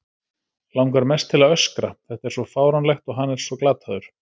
Langar mest til að öskra, þetta er svo fáránlegt og hann svo glataður.